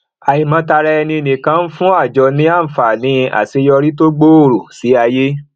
àìmọtaraẹninìkan ń fún àjọ ní àǹfààní àṣeyọrí tó gbooro sí ayé